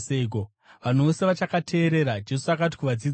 Vanhu vose vachakateerera, Jesu akati kuvadzidzi vake,